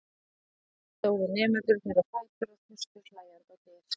Um leið stóðu nemendurnir á fætur og þustu hlæjandi á dyr.